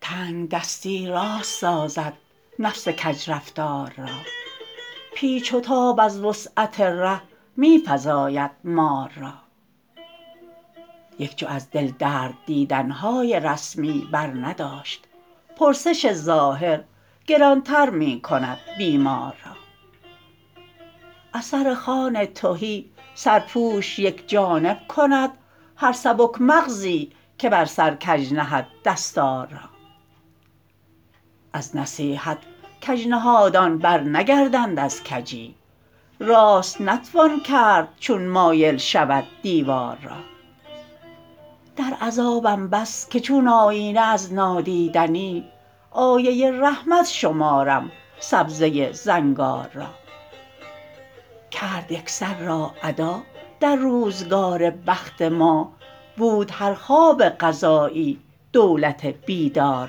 تنگدستی راست سازد نفس کج رفتار را پیچ و تاب از وسعت ره می فزاید مار را یک جو از دل درد دیدن های رسمی برنداشت پرسش ظاهر گرانتر می کند بیمار را از سر خوان تهی سرپوش یک جانب کند هر سبک مغزی که بر سر کج نهد دستار را از نصیحت کج نهادان برنگردند از کجی راست نتوان کرد چون مایل شود دیوار را در عذابم بس که چون آیینه از نادیدنی آیه رحمت شمارم سبزه زنگار را کرد یکسر را ادا در روزگار بخت ما بود هر خواب قضایی دولت بیدار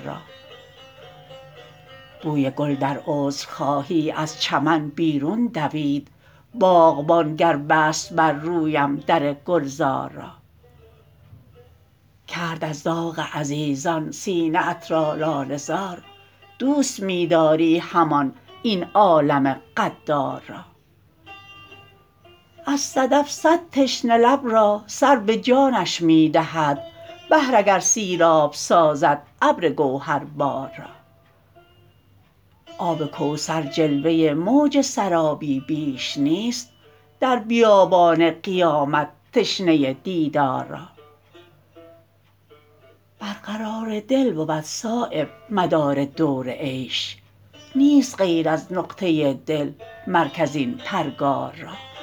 را بوی گل در عذرخواهی از چمن بیرون دوید باغبان گر بست بر رویم در گلزار را کرد از داغ عزیزان سینه ات را لاله زار دوست می داری همان این عالم غدار را از صدف صد تشنه لب را سر به جانش می دهد بحر اگر سیراب سازد ابر گوهربار را آب کوثر جلوه موج سرابی بیش نیست در بیابان قیامت تشنه دیدار را برقرار دل بود صایب مدار دور عیش نیست غیر از نقطه دل مرکز این پرگار را